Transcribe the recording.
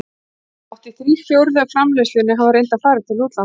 Hátt í þrír fjórðu af framleiðslunni hafa reyndar farið til útlanda.